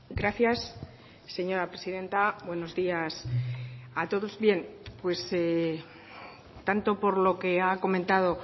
gracias señora presidenta buenos días a todos bien tanto por lo que ha comentado